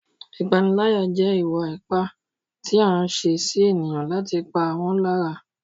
Ìpániláyà jẹ́ ìwà ipá tí a ń ṣe sí ènìyàn láti pa wọ́n lára.